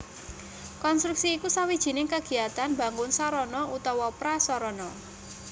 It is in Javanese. Konstruksi iku sawijining kagiatan mbangun sarana utawa prasarana